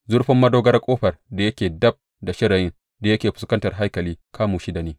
Zurfin madogarar ƙofar da yake dab da shirayin da yake fuskantar haikalin kamu shida ne.